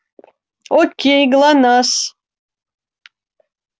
окей глонассс